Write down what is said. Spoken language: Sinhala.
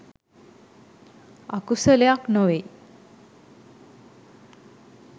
අකුසලයක් නොවෙයි